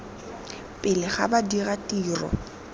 pele ga ba dira tiro